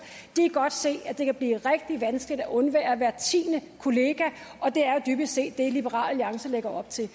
godt kan se at det kan blive rigtig vanskeligt at undvære hver tiende kollega og det er jo dybest set det liberal alliance lægger op til